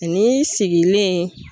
Ani sigilen